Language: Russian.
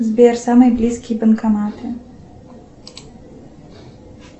сбер самые близкие банкоматы